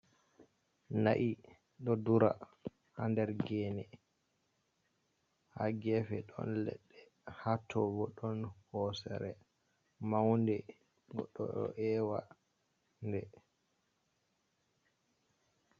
Na’i ɗo dura ha nder gene, ha gefe ɗon leɗɗe ha to bo ɗon hosere maunde, goɗɗo ɗo ewa nde.